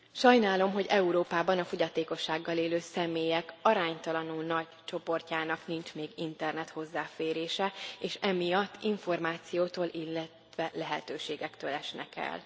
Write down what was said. Sajnálom, hogy Európában a fogyatékossággal élő személyek aránytalanul nagy csoportjának nincs még internet hozzáférése, és emiatt információtól, illetve lehetőségektől esnek el.